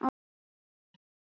Hvað var hann að æða út?